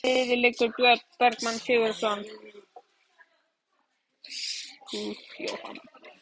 Með hvaða liði leikur Björn Bergmann Sigurðarson?